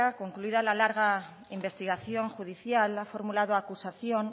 concluida la larga investigación judicial ha formulado acusación